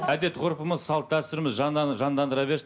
әдет ғұрпымыз салт дәстүріміз жандандыра берсін